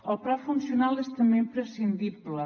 el pla funcional és també imprescindible